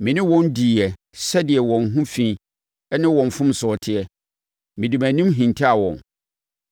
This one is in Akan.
Me ne wɔn diiɛ sɛdeɛ wɔn ho fi ne wɔn mfomsoɔ teɛ, mede mʼanim hintaa wɔn.